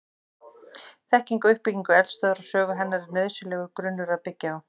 Þekking á uppbyggingu eldstöðvar og sögu hennar er nauðsynlegur grunnur að byggja á.